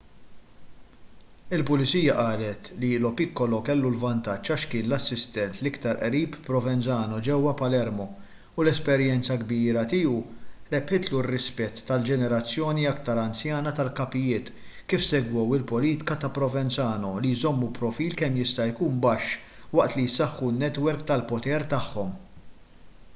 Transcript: il-pulizija qalet li lo piccolo kellu l-vantaġġ għax kien l-assistent l-iktar qrib provenzano ġewwa palermo u l-esperjenza kbira tiegħu rebħitlu r-rispett tal-ġenerazzjoni iktar anzjana tal-kapijiet kif segwew il-politika ta' provenzano li jżommu profil kemm jista' jkun baxx waqt li jsaħħu n-netwerk tal-poter tagħhom